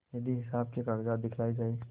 यदि हिसाब के कागजात दिखलाये जाएँ